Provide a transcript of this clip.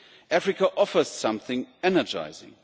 Africa offers something energising.